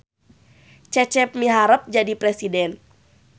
Cecep miharep jadi presiden